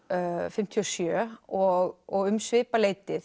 fimmtíu og sjö og og um svipað leyti